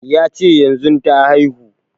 Ya ce yanzun ta haihu